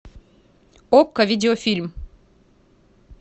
окко видеофильм